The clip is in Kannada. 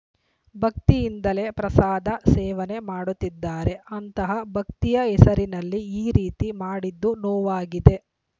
ಭಕ್ತಿಯಿಂದಲೇ ಪ್ರಸಾದ ಸೇವನೆ ಮಾಡುತ್ತಿದ್ದಾರೆ ಅಂತಹ ಭಕ್ತಿಯ ಹೆಸರಿನಲ್ಲಿ ಈ ರೀತಿ ಮಾಡಿದ್ದು ನೋವಾಗಿದೆ